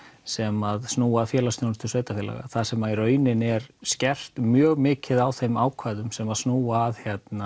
sem snúa að félagsþjónustu sveitafélaga þar sem í rauninni er skert mjög mikið á þeim ákvæðum sem snúa að